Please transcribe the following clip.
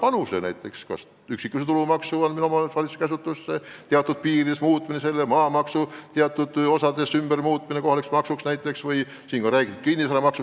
On tehtud ettepanekuid anda üksikisiku tulumaks omavalitsuse käsutusse või selle osakaalu teatud piirides muuta, samuti muuta maamaks teatud osas kohalikuks maksuks või kehtestada kinnisvaramaks.